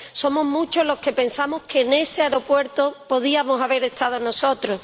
Somos muchos los que pensamos que en ese aeropuerto podíamos haber estado nosotros.